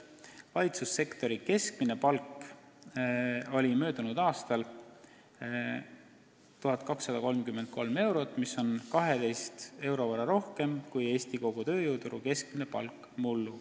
Valitsussektori keskmine palk oli möödunud aastal 1233 eurot, mis on 12 euro võrra rohkem kui Eesti kogu tööjõuturu keskmine palk mullu.